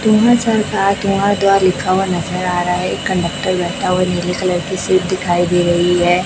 दो हजार सात यहां द्वा लिखा हुआ नजर आ रहा है एक कंडक्टर बैठा हुआ नीली कलर की सीट दिखाई दे रही है।